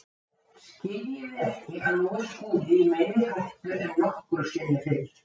Skiljið þið ekki að nú er Skúli í meiri hættu en nokkru sinni fyrr.